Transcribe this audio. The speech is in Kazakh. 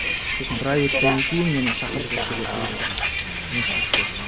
сосын бір ай өткеннен кейін мені шақырып осы жерге кіргізді ммм көмекшілікке